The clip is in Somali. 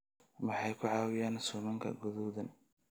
Maxay ku caawiyaan suumanka guduudan?